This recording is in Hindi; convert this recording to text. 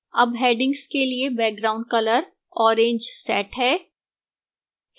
अब headings के लिए background color orange set है